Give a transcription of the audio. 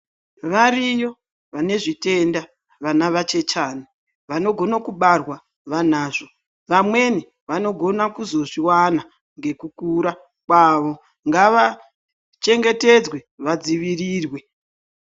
Variyo vane zvitenda vana vachechana vanogona kubarwa vanazvo. Vamweni vanogona kuzvozvivana ngekukura kwavo ngava chengetedzwe vadzivirirwe.